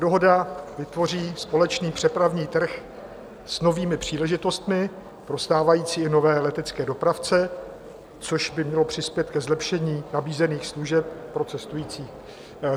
Dohoda vytvoří společný přepravní trh s novými příležitostmi pro stávající i nové letecké dopravce, což by mělo přispět ke zlepšení nabízených služeb pro cestující.